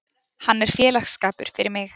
Hann er félagsskapur fyrir mig.